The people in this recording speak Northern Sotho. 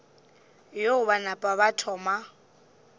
yeo ba napa ba thoma